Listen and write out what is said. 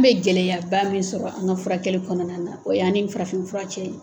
An< bɛ gɛlɛya ba min sɔrɔ an ka furakɛli kɔnɔna na o yan ni farafin fura cɛ ye.